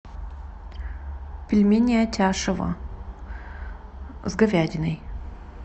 пельмени атяшево с говядиной